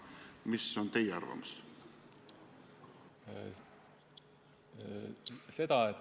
Mis on teie arvamus?